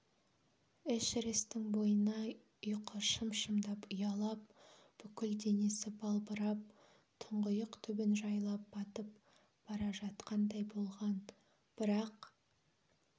эшерестің бойына ұйқы шым-шымдап ұялап бүкіл денесі балбырап тұңғиық түбін жайлап батып бара жатқандай болған бірақ